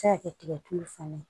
Se ka kɛ tigɛ tulu fana ye